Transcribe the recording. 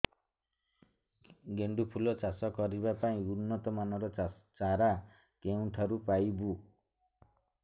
ଗେଣ୍ଡୁ ଫୁଲ ଚାଷ କରିବା ପାଇଁ ଉନ୍ନତ ମାନର ଚାରା କେଉଁଠାରୁ ପାଇବୁ